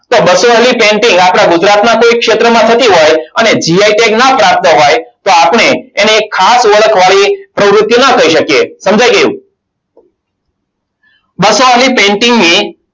બસો વાળી painting આપણા ગુજરાતના કોઈ ક્ષેત્રમાં થતી હોય અને gi tag ના પ્રાપ્ત હોય તો આપણે એને ખાસ ઓળખવાની પ્રવૃત્તિ ન કહી શકીએ. સમજ્યા કે બસો વાળી painting ને